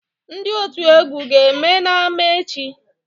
Ndị otu egwu ga-eme n'ámá echi?